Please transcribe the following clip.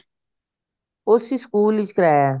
ਉਸ ਸਕੂਲ ਵਿੱਚ ਕਰਾਇਆ